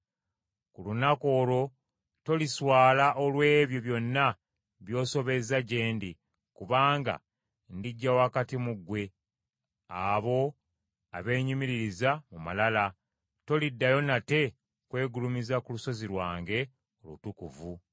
Ku lunaku olwo toliswala olw’ebyo byonna by’osobezza gye ndi: kubanga ndiggya wakati mu ggwe abo abeenyumiririza mu malala, toliddayo nate kwegulumiza ku lusozi lwange olutukuvu.